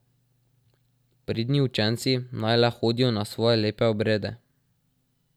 Pridni učenci naj le hodijo na svoje lepe obrede.